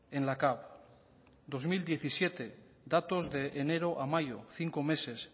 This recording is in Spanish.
en la cav dos mil diecisiete datos de enero a mayo cinco meses